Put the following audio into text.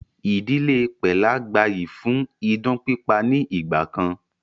Ìdílé pẹ́là gbà yìí fún idán pípa ni ìgbàkan